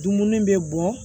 Dumuni bɛ bɔn